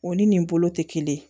O ni nin bolo tɛ kelen ye